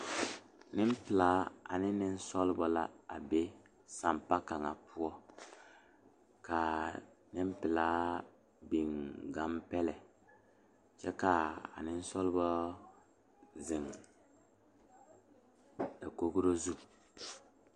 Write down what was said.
Nenpelaa ane Nenbɛre la zeŋ ka ba de ba nuure tuŋ eŋ laa poɔ ka bondire be a laa poɔ a Nenbɛre ne a bibiiri mine taa teɛ ka bamine meŋ de ba nuure a tuŋ eŋ dakogre zu.